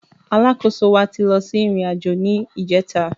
Alákóso wa ti lọ sí ìrìn àjò ni ìjẹta